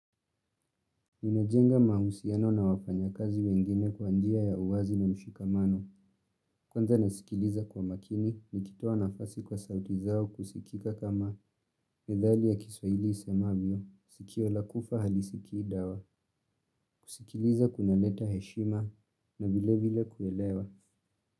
Nimejenga mahusiano na wafanya kazi wengine kwa njia ya uwazi na mshikamano. Kwanza nasikiliza kwa makini nikitoa nafasi kwa sauti zao kusikika kama methali ya kiswaili isemavyo. Sikio la kufa halisikii dawa. Kusikiliza kuna leta heshima na vile vile kuelewa.